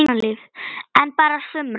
En bara sumra.